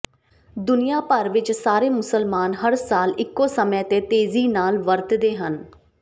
ਦੁਨੀਆ ਭਰ ਵਿੱਚ ਸਾਰੇ ਮੁਸਲਮਾਨ ਹਰ ਸਾਲ ਇੱਕੋ ਸਮੇਂ ਤੇ ਤੇਜ਼ੀ ਨਾਲ ਵਰਤਦੇ ਹਨ